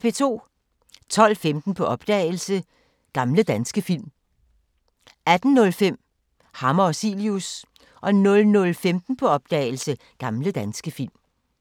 12:15: På opdagelse – Gamle danske film 18:05: Hammer og Cilius 00:15: På opdagelse – Gamle danske film